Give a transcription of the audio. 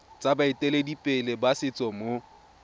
tsa baeteledipele ba setso mo